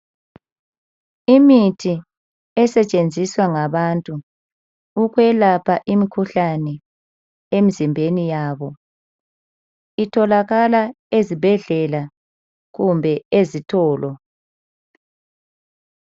Imithi esetshenziswa ngabantu ukwelapha imkhuhlane emzimbeni yabo itholakala ezibhedlela kumbe ezitolo.